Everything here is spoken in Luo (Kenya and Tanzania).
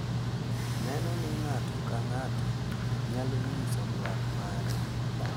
Neno ni ng’ato ka ng’ato nyalo nyiso dwaro mare,